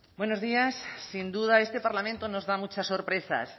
buenos días sin duda este parlamento nos da muchas sorpresas